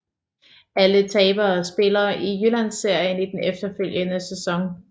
Alle tabere spiller i Jyllandsserien i den efterfølgende sæson